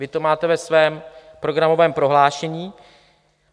Vy to máte ve svém programovém prohlášení.